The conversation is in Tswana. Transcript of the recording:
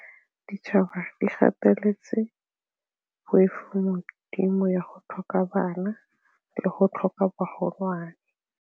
Ditšhaba di gateletse poifo ya go tlhoka bana le go tlhoka bagolwana.